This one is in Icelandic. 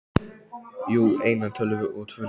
Jú, eina tölvu og tvo leiki.